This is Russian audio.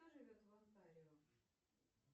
кто живет в онтарио